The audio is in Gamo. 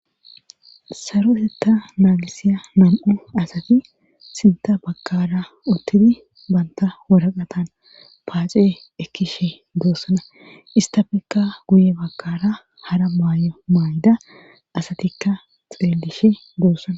Sarohetta naagisiya nan7u asati sinta bakara uttidi banta woraqatan paace ekkishe doossana istafekka guye bakara hara maayo maayda asatikka xeelishe doossana.